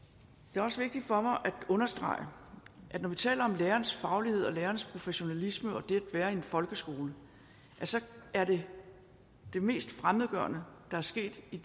det er også vigtigt for mig at understrege at når vi taler om lærerens faglighed og lærerens professionalisme og det at være i en folkeskole så er det mest fremmedgørende der er sket i